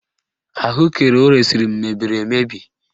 Ahụekere o resiri m mebiri emebi